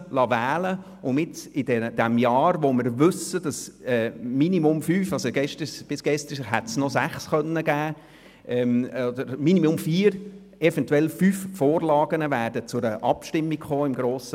Dies, weil wir wissen, dass dieses Jahr eventuell fünf beziehungsweise mindestens vier Vorlagen – bis gestern waren es noch sechs – im Kanton zur Abstimmung kommen werden.